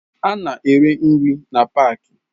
Ha na-ere nri na paaki.